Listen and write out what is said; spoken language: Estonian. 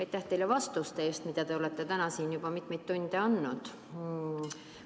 Aitäh teile vastuste eest, mida te olete täna siin juba mitmeid tunde andnud!